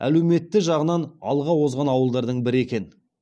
әлеуметті жағынан алға озған ауылдардың бірі екен